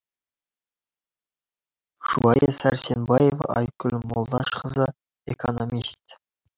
жұбайы сәрсенбаева айткүл молдашқызы экономист